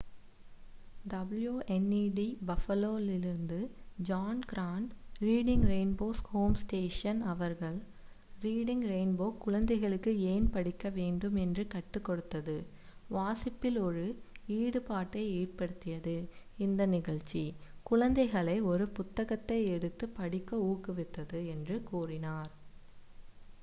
"wned buffalo லிருந்து John Grant reading rainbow's home station அவர்கள் "reading rainbow குழந்தைகளுக்கு ஏன் படிக்க வேண்டும் என்று கற்றுக் கொடுத்தது,... வாசிப்பில் ஒரு ஈடுபாட்டை ஏற்படுத்தியது— [இந்த நிகழ்ச்சி] குழந்தைகளை ஒரு புத்தகத்தை எடுத்து படிக்க ஊக்குவித்தது" என்று கூறினார்.